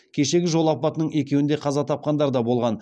кешегі жол апатының екеуінде қаза тапқандар да болған